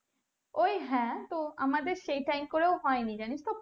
ওই হ্যাঁ তো আমাদের সেই time করেও হয়নি জানিস তো